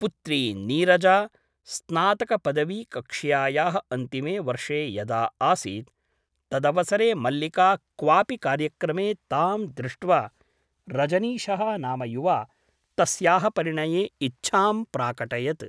पुत्री नीरजा स्नातकपदवीकक्ष्यायाः अन्तिमे वर्षे यदा आसीत् तदवसरे मल्लिका क्वापि कार्यक्रमे तां दृष्ट्वा रजनीशः नाम युवा तस्याः परिणये इच्छां प्राकटयत् ।